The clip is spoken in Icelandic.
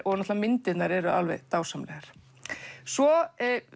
náttúrulega myndirnar eru dásamlegar svo